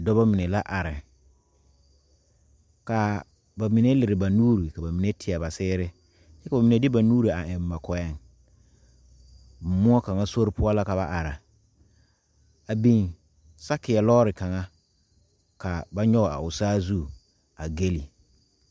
Dɔɔba mine la are ka ba mine leri ba nuure ka ba mine tiea ba seere koo mine de ba nuure eŋ ba kɔɛ muo kaŋa sori poɔ la ka ba are a biŋ saakeeɛ lɔre kaŋa ka ba nyoŋ a o saazu a gegle .